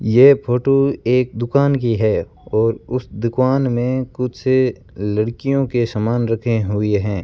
यह फोटो एक दुकान की है और उस दुकान में कुछ लड़कियों के सामान रखे हुए हैं।